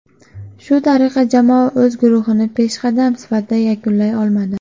Shu tariqa jamoa o‘z guruhini peshqadam sifatida yakunlay olmadi.